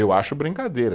Eu acho brincadeira.